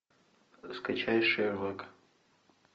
скачай шерлок